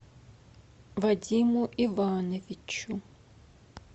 вадиму ивановичу